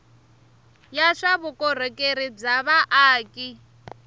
ya swa vukorhokeri bya vaaki